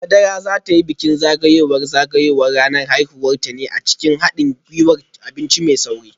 Madara za ta yi bikin zagayowar zagayowar ranar haihuwarta ne a cikin hadin gwiwar abinci mai sauri